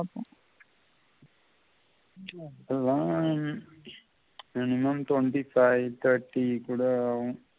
எல்லாம் எனக்கு இன்னொன்று தோணுது இப்ப five thirty குள்ள ஆகும்